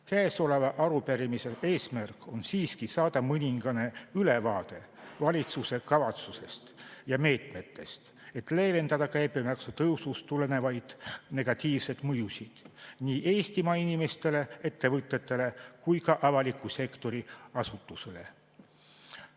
Käesoleva arupärimise eesmärk on siiski saada mõningane ülevaade valitsuse kavatsusest ja meetmetest, et leevendada käibemaksu tõusust tulenevaid negatiivseid mõjusid nii Eestimaa inimestele, ettevõtetele kui ka avaliku sektori asutustele.